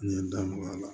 N ye n da mɔgɔ a la